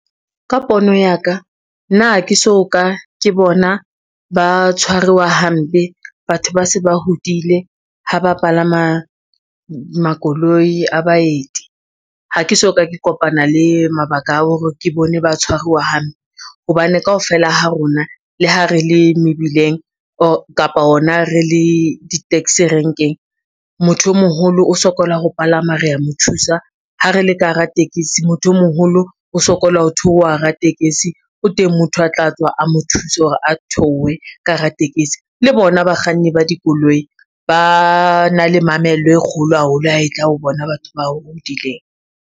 Ka pono ya ka nna ke so ka ke bona ba tshwaruwa hampe batho ba se ba hodile ha ba palama makoloi a baeti. Ha ke soka ke kopana le mabaka a hore ke bone ba tshwaruwa hampe, hobane kaofela ha rona le ha re le mebileng kapa hona re le di-taxi renkeng, motho o moholo o sokola ho palama re ya mo thusa, ha re le ka hara tekesi motho o moholo o sokola ho theoha hara tekesi o teng motho a tla tswa a mo thuse hore a theohe ka hara tekesi le bona bakganni ba dikoloi ba na le mamello e kgolo haholo, ha e tla ho bona batho ba hodileng.